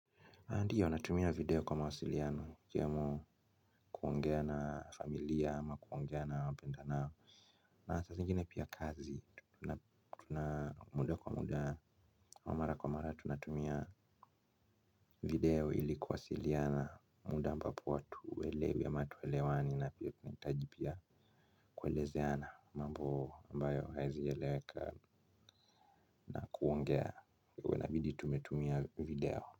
Ndiyo natumia video kwa mawasiliano ikiwemo kuongea na familia ama kuongea na wapendanao. Na saa zingine pia kazi tuna muda kwa muda au mara kwa mara tunatumia video ili kuwasiliana muda ambapo watu uwelewe ama tuwelewani na pia tunatajibia kuwelezeana mambo ambayo haiezi eleweka na kuongea uwe nabidi tumetumia video.